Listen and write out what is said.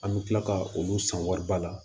An bɛ tila ka olu san wariba la